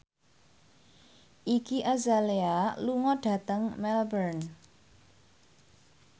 Iggy Azalea lunga dhateng Melbourne